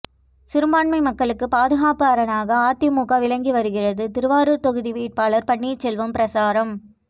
சிறுபான்மை மக்களுக்கு பாதுகாப்பு அரணாக அதிமுக விளங்கி வருகிறது திருவாரூர் தொகுதி வேட்பாளர் பன்னீர்செல்வம் பிரசாரம்